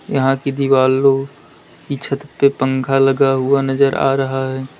यहां की दिवालों की छत पे पंखा लगा हुआ नजर आ रहा है।